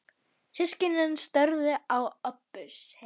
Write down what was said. Systkinin störðu á Öbbu hina.